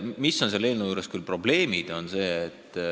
Mis on selle eelnõu puhul probleem?